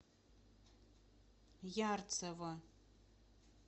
ярцево